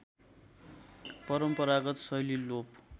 परम्परागत शैली लोप